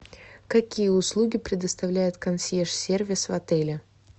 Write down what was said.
какие услуги предоставляет консьерж сервис в отеле